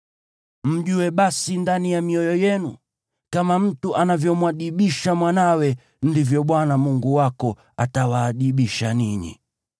Mjue basi ndani ya mioyo yenu kama mtu anavyomwadibisha mwanawe, ndivyo Bwana Mungu wako atawaadibisha ninyi.